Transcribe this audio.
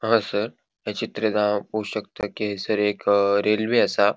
हांगासर या चित्रित हांव पोवो शकता कि हयसर एक रेल्वे आसा.